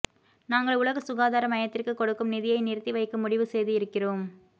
நாங்கள் உலக சுகாதார மையத்திற்கு கொடுக்கும் நிதியை நிறுத்தி வைக்க முடிவு செய்து இருக்கிறோம்